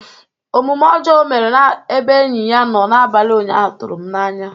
Omume ọjọọ o mere n'ebe enyi ya nọ n'abalị ụnyaahụ tụrụ m n'anya